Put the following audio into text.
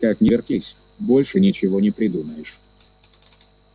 как ни вертись больше ничего не придумаешь